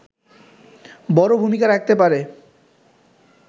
বড় ভূমিকা রাখতে পারে